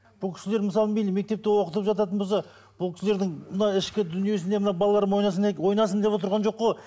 бұл кісілер мысалы мейлі мектепте оқытып жататын болса бұл кісілердің мынадай ішкі дүниесіне мына балаларым ойнасын ойнасын деп отырған жоқ қой